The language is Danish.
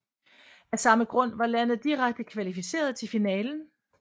Af samme grund var landet direkte kvalificeret til finalen